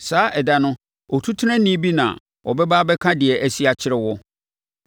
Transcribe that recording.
saa ɛda no otutenani bi na ɔbɛba abɛka deɛ asi akyerɛ wo.